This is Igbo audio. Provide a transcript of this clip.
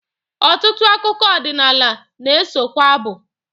Ọtụtụ akụkọ ọdịnala na-esokwa abụ.